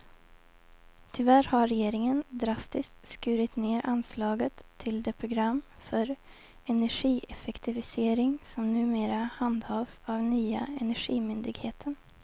Tyvärr har regeringen drastiskt skurit ned anslaget till det program för energieffektivisering som numera handhas av nya energimyndigheten.